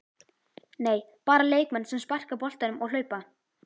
Nei, Bara leikmenn sem sparka boltanum og hlaupa?